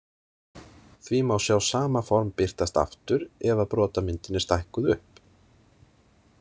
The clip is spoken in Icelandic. Því má sjá sama form birtast aftur ef að brotamyndin er stækkuð upp.